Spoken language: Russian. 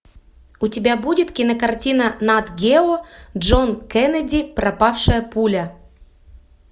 у тебя будет кинокартина нат гео джон кеннеди пропавшая пуля